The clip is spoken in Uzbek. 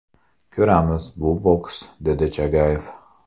Ko‘ramiz, bu boks”, dedi Chagayev.